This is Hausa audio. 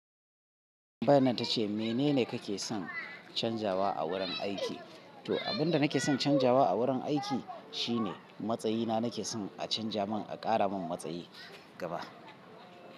Bayin ta ce mene ne ka ke son canzawa a wurin aiki? To, abin da na ke son canzawa a wurin aiki shine matsayina. Na ke son a canza mun a ƙara mun matsayi gaba.